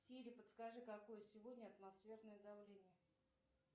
сири подскажи какое сегодня атмосферное давление